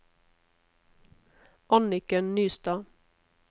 Anniken Nystad